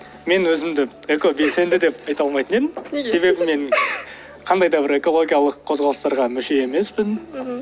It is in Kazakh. мен өзімді экобелсенді деп айта алмайтын едім неге себебі мен қандай да бір экологиялық қозғалыстарға мүше емеспін мхм